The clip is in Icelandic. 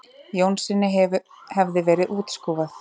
Jónssyni hefði verið útskúfað.